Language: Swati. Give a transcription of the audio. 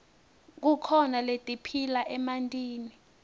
kukhona letiphila emantini